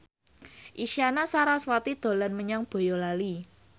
Isyana Sarasvati dolan menyang Boyolali